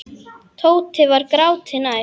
Tóti var gráti nær.